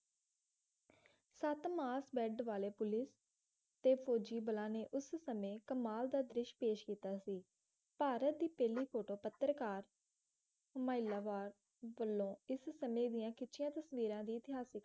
ਸੱਤ mass band ਵਾਲੇ police ਤੇ ਫੌਜ਼ੀ ਬਲਾਂ ਨੇ ਉਸ ਸਮੇਂ ਕਮਾਲ ਦਾ ਦ੍ਰਿਸ਼ ਪੇਸ਼ ਕੀਤਾ ਸੀ ਭਾਰਤ ਦੀ ਪਹਿਲੀ ਸੁਤੰਤਰ ਪੱਤਰਕਾਰ ਇਸਮੈਲਾਬਾਦ ਵੱਲੋਂ ਖਿੱਚੀਆਂ ਤਸਵੀਰਾਂ ਵੀ ਇਤਿਹਾਸਿਕ